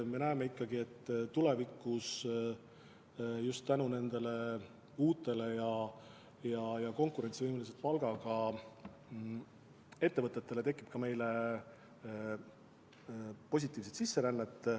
Me näeme, et tulevikus just tänu nendele uutele ja konkurentsivõimelise palgaga ettevõtetele tekib ka meile positiivset sisserännet.